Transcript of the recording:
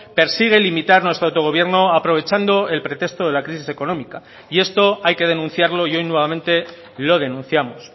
persigue limitar nuestro autogobierno aprovechando el pretexto de la crisis económica y esto hay que denunciarlo y hoy nuevamente lo denunciamos